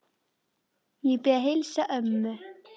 Ég bið að heilsa ömmu.